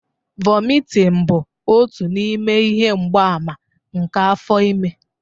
Vomitting bụ otu n'ime ihe mgbaàmà nke afọ ime